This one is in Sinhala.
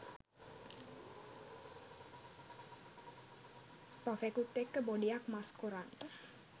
ප්‍රොෆෙකුත් එක්ක බොඩියක් මස් කොරන්ට